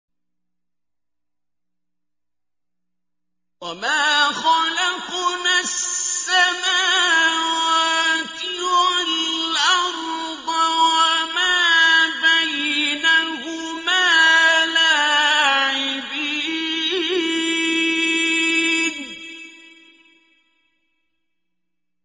وَمَا خَلَقْنَا السَّمَاوَاتِ وَالْأَرْضَ وَمَا بَيْنَهُمَا لَاعِبِينَ